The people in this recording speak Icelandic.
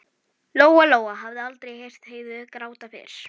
Lóa Lóa hafði aldrei heyrt Heiðu gráta fyrr.